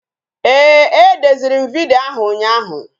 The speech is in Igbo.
Ee, e deziri m vidyo ahụ ụnyaahụ